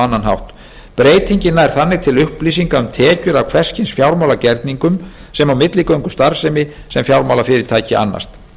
annan hátt breytingin nær þannig til upplýsinga um tekjur af hvers kyns fjármálagerningum sem og milligöngustarfsemi sem fjármálafyrirtæki annast